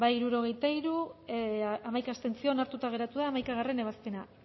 hirurogeita hiru boto aldekoa hamaika abstentzio onartuta geratu da hamaikagarrena ebazpena